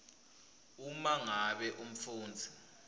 uma ngabe umfundzi